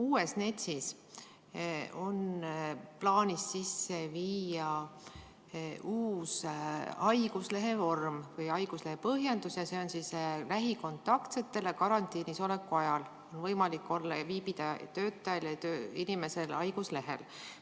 Uues NETS-is on plaanis sisse viia uus haiguslehe vorm või haiguslehe põhjendus ja see on mõeldud lähikontaktsetele karantiinis oleku ajaks: lähikontaktsel tööinimesel on võimalik viibida haiguslehel.